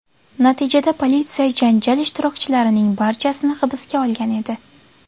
Natijada politsiya janjal ishtirokchilarining barchasini hibsga olgan edi.